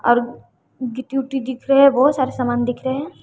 और गिट्टी ऊटी दिख रहे है बहोत सारे सामान दिख रहे हैं।